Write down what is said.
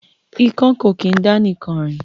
Ikán kò kín dá nìkan rìn